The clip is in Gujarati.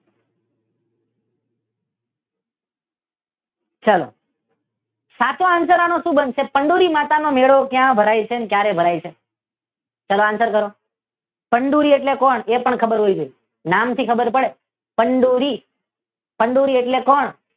ચાલો સાચો આન્સર આનો શું બનશે? ચંદૂરી માતા નો મેળો ક્યાં ભરાય છે અને ક્યારે ભરાય છે? ચાલો આન્સર દ્યો. ચંદૂરી એટલે કોણ એ પણ ખબર હોવી જોઈ નામ થી ખબર પડે ચંદૂરી ચંદૂરી એટલે કોણ?